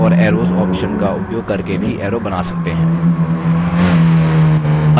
हम lines and arrows option का उपयोग करके भी arrows बना सकते हैं